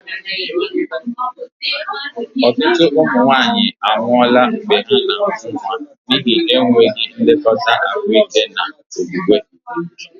Ọtụtụ ụmụ nwanyị anwụọla mgbe ha na-amụ nwa n'ihi enweghị nlekọta ahụike na okwukwe.